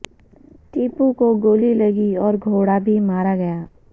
ٹیپو کو گولی لگی اور گھوڑا بھی مارا گیا